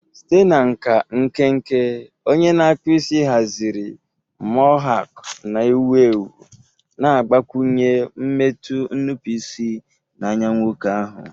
Site na nka nkenke, onye na-akpụ isi haziri mohawk na-ewu ewu, na-agbakwụnye mmetụ nnupụisi na anya nwoke ahụ.